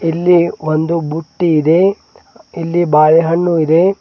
ಇಲ್ಲಿ ಒಂದು ಬುಟ್ಟಿ ಇದೆ ಇಲ್ಲಿ ಒಂದು ಬಾಳೆಹಣ್ಣು ಇದೆ.